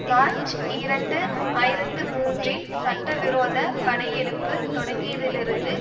March இரண்டு ஆயிரத்தி மூன்றில் சட்ட விரோத படையெடுப்பு தொடங்கியதிலிருந்து